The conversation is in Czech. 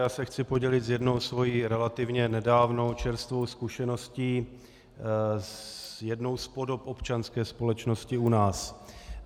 Já se chci podělit s jednou svou relativně nedávnou čerstvou zkušeností s jednou z podob občanské společnosti u nás.